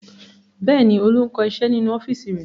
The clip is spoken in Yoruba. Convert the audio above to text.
Bẹ́ẹ̀ ni, Olú ń kọ iṣẹ́ nínú ọ́fíísì rẹ̀.